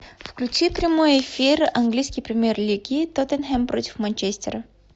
включи прямой эфир английской премьер лиги тоттенхэм против манчестера